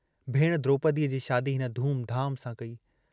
भेणु द्रोपदीअ जी शादी हिन धूमधाम सां कई।